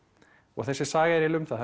og þessi saga er eiginlega um það